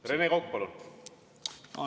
Rene Kokk, palun!